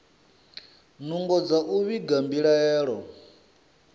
nungo dza u vhiga mbilaelo